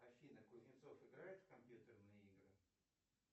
афина кузнецов играет в компьютерные игры